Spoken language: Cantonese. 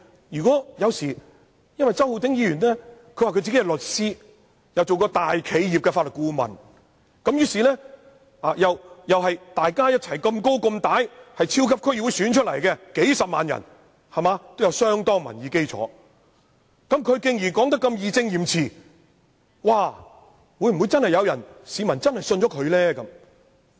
不過，周浩鼎議員自稱是律師，又曾擔任大企業的法律顧問，而且和我一樣，在超級區議會功能界別經數十萬選民選出，具有相當民意基礎，既然他說得這麼義正詞嚴，會否真的有市民相信他的話呢？